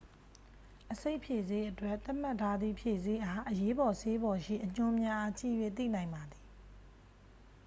အဆိပ်ဖြေဆေးအတွက် သတ်မှတ်ထားသည့် ဖြေဆေးအား အရေးပေါ်ဆေးပေါ်ရှိ အညွှန်းများအား ကြည့်၍သိနိုင်ပါသည်